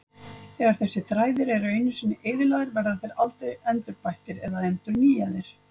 Þegar þessir þræðir eru einu sinni eyðilagðir verða þeir aldrei endurbættir eða endurnýjaðir.